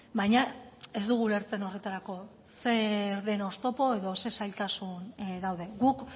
baina ez dugu ulertzen horretarako zer den oztopo edo zein zailtasun dauden guk